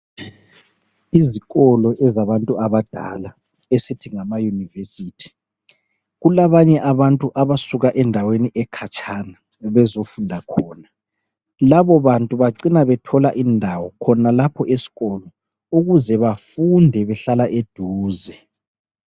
Izikolo ezabantu abadala esithi ngama university, kulabanye abantu abasuka endaweni ekhatshana bezofunda khona, labo bantu bacina bethola indawo khonalapho esikolo ukuze bafunde behlala eduze